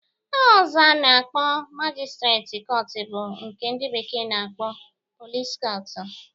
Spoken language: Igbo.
Aha ọzọ a na-akpọ majistreti kọtụ bụ nke ndị bekee na-akpọ pọlis kọtụ